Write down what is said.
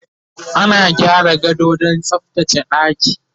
ana gyara gado Dan tsaftace ɗaki